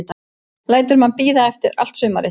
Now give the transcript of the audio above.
Lætur mann bíða allt sumarið.